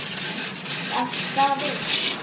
en er þetta ekki alltaf rautt??